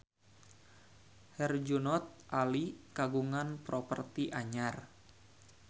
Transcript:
Herjunot Ali kagungan properti anyar